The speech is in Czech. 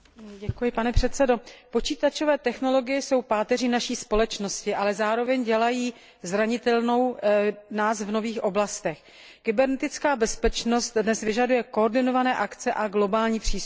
Pane předsedající, počítačové technologie jsou páteří naší společnosti, ale zároveň ji dělají zranitelnou v nových oblastech. Kybernetická bezpečnost dnes vyžaduje koordinované akce a globální přístup.